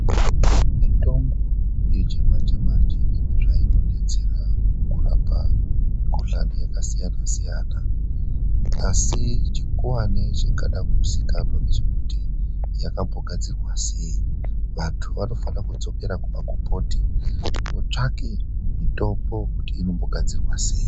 MUTOMBO YECHIMANJE MANJE INE ZVAIN9DETSERA KURAPA MUKUHLANI YAKASIYANA- SIYANA, ASI CHIKUWANI CHINGADA KUZIWIKANWA NGECHEKUTI YAKAMBOGADZIRWA SEI. VANTU VANOFANIRA KUDZOKERA KUMAGOMBOTI VOTSVAKE MITOMBO KUTI INOMBOGADZIRWA SEI.